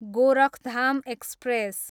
Gorakhdham express